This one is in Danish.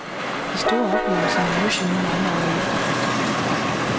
De store oplevelser mindes vi nu mange år efter.